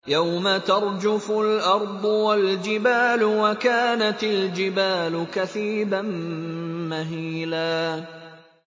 يَوْمَ تَرْجُفُ الْأَرْضُ وَالْجِبَالُ وَكَانَتِ الْجِبَالُ كَثِيبًا مَّهِيلًا